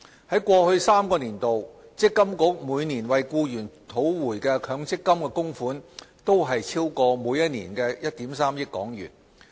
在過去3個年度，積金局每年為僱員討回的強積金供款均超過1億 3,000 萬港元。